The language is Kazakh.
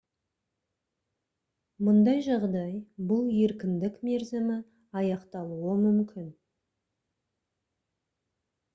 мұндай жағдай бұл еркіндік мерзімі аяқталуы мүмкін